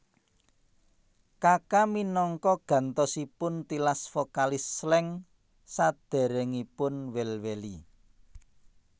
Kaka minangka gantosipun tilas vokalis Slank saderengipun Well Welly